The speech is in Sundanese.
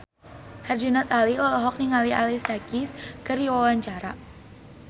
Herjunot Ali olohok ningali Alicia Keys keur diwawancara